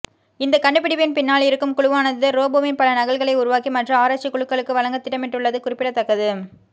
இந்த கண்டுப்பிடிப்பின் பின்னால் இருக்கும் குழுவானது ரோபோவின் பல நகல்களை உருவாக்கி மற்ற ஆராய்ச்சி குழுக்களுக்கு வழங்க திட்டமிட்டுள்ளது குறிப்பிடத்தக்கது